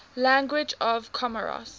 languages of comoros